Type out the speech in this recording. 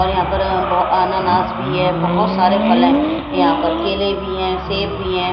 और यहां पर ब अनानास भी है बहुत सारे फल हैं यहां पर केले भी हैं सेब भी हैं।